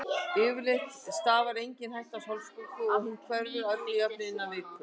Yfirleitt stafar engin hætta af hálsbólgu og hún hverfur að öllu jöfnu innan viku.